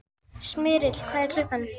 Smyrill, hvað er klukkan?